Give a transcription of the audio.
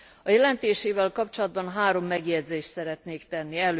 A jelentésével kapcsolatban három megjegyzést szeretnék tenni.